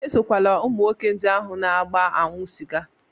Esokwala ụmụ nwoke ndị ahụ na-agba aṅụ sịga!